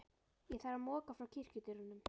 Ég þarf að moka frá kirkjudyrunum.